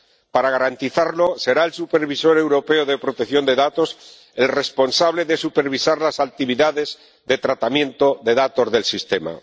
Para garantizarlo, será el Supervisor Europeo de Protección de Datos el responsable de supervisar las actividades de tratamiento de datos del sistema.